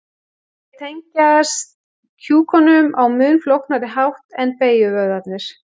Þeir tengjast kjúkunum á mun flóknari hátt en beygjuvöðvarnir.